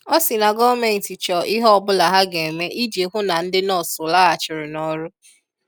Ọ si na gọọment chọọ ihe ọbụla ha ga-eme iji hụụ na ndị nọọsu lọghachịrị n'ọrụ